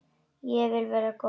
Því ég vil vera góð.